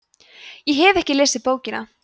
ég hef ekki lesið bókina